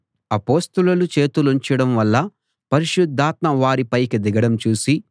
అపొస్తలులు చేతులుంచడం వల్ల పరిశుద్ధాత్మ వారి పైకి దిగడం చూసి సీమోను